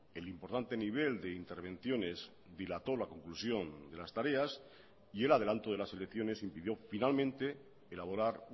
el importante nivel de intervenciones dilató la conclusión de las tareas y el adelanto de las elecciones impidió finalmente elaborar